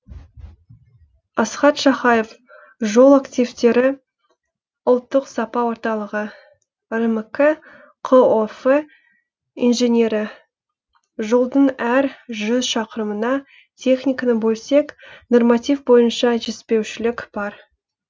асхат шахаев жол активтері ұлттық сапа орталығы рмк қоф инженері жолдың әр жүз шақырымына техниканы бөлсек норматив бойынша жетіспеушілік бар